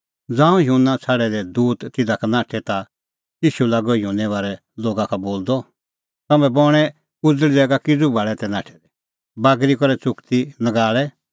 ज़ांऊं युहन्ना छ़ाडै दै दूत तिधा का नाठै ता ईशू लागअ युहन्ने बारै लोगा का बोलदअ तम्हैं बणैं उज़ल़ ज़ैगा किज़ू भाल़ै नाठै तै बागरी करै च़ुकदी नगाल़ै